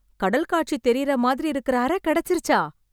கடல் காட்சி தெரியற மாதிரி இருக்கற அற கெடைச்சிருச்சா..!